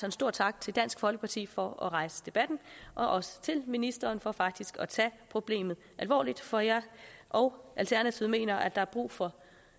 en stor tak til dansk folkeparti for at rejse debatten og også til ministeren for faktisk at tage problemet alvorligt for jeg og alternativet mener at der er brug for